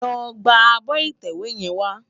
Lò gbá ábò itèwé yèn wá